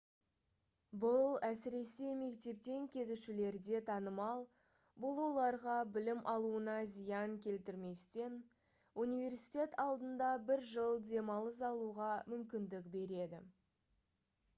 бұл әсіресе мектептен кетушілерде танымал бұл оларға білім алуына зиян келтірместен университет алдында бір жыл демалыс алуға мүмкіндік береді